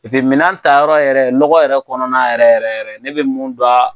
Que minaan ta yɔrɔ yɛrɛ nɔgɔ yɛrɛ kɔnɔna yɛrɛ yɛrɛ ne bɛ mun don